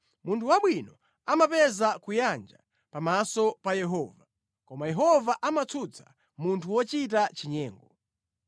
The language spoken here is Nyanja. Munthu wabwino amapeza kuyanja pamaso pa Yehova, koma Yehova amatsutsa munthu wochita chinyengo.